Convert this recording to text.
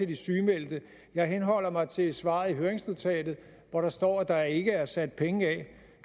de sygemeldte jeg henholder mig til svaret i høringsnotatet hvor der står at der ikke er sat penge